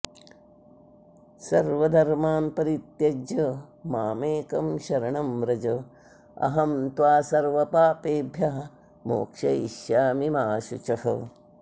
सर्वधर्मान् परित्यज्य माम् एकं शरणं व्रज अहं त्वा सर्वपापेभ्यः मोक्षयिष्यामि मा शुचः